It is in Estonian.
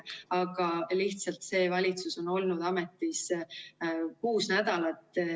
Aga lihtsalt see valitsus on olnud ametis kuus nädalat.